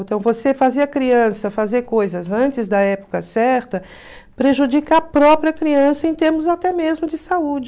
Então, você fazer a criança fazer coisas antes da época certa prejudica a própria criança em termos até mesmo de saúde.